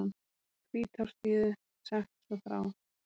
Hvítársíðu sagt svo frá